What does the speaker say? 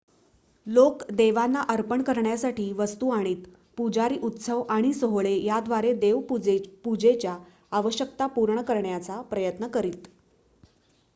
लोक देवांना अर्पण करण्यासाठी वस्तू आणीत पुजारी उत्सव आणि सोहळे याद्वारे देव पूजेच्या आवश्यकता पूर्ण करण्याचा प्रयत्न करीत